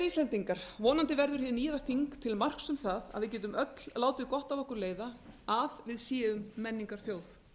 íslendingar vonandi verður hið nýja þing til marks um það að við getum öll látið gott af okkur leiða að við séum menningarþjóð